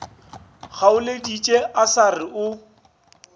kgaoleditše a sa re o